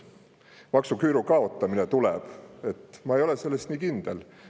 et maksuküüru kaotamine tuleb, ma ei ole selles nii kindel.